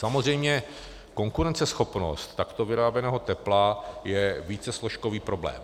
Samozřejmě konkurenceschopnost takto vyráběného tepla je vícesložkový problém.